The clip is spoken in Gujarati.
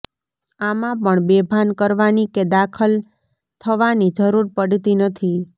આમાં પણ બેભાન કરવાની કે દાખલ થવાની જરૂર પડતી નથી